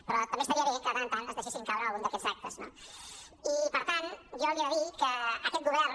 però també estaria bé que de tant en tant es deixessin caure en algun d’aquests actes no i per tant jo li he de dir que aquest govern